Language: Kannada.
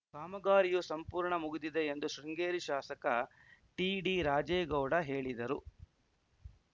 ಕಾಮಗಾರಿಯು ಸಂಪೂರ್ಣ ಮುಗಿದಿದೆ ಎಂದು ಶೃಂಗೇರಿ ಶಾಸಕ ಟಿಡಿ ರಾಜೇಗೌಡ ಹೇಳಿದರು